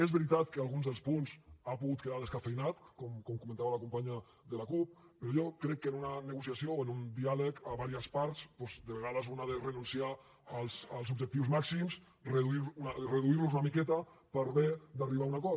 és veritat que alguns dels punts han pogut quedar descafeïnats com comentava la companya de la cup però jo crec que en una negociació o en un diàleg amb diverses parts doncs de vegades un ha de renunciar als objectius màxims reduir los una miqueta per bé d’arribar a un acord